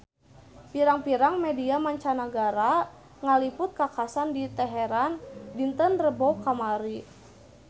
Pirang-pirang media mancanagara ngaliput kakhasan di Teheran dinten Rebo kamari